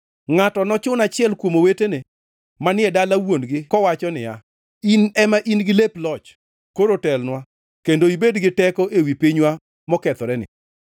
Ngʼato nochun achiel kuom owetene manie dala wuon-gi kowacho niya, “In ema in-gi lep loch, koro telnwa; kendo ibed gi teko ewi pinywa mokethoreni.”